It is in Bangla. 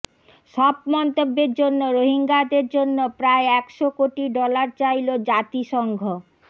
সব মন্তব্যের জন্য রোহিঙ্গাদের জন্য প্রায় একশো কোটি ডলার চাইল জাতিসংঘ